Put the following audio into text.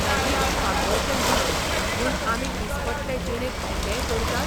हें वीख पातळचें न्हय म्हूण आमी दिसपट्टे जिणेंत कितेंय करतात?